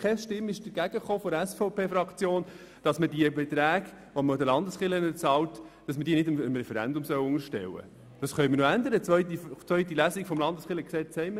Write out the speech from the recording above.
Keine Stimme von der SVP hat sich dafür eingesetzt, dass man die Beiträge für die Landeskirchen dem Referendum unterstellt.